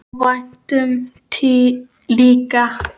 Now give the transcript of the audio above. Óvæntum líka.